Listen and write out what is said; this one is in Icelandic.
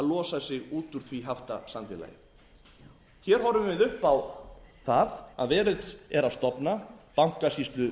losa sig út úr því haftasamfélagi hér horfum við upp á það að verið er að stofna bankasýslu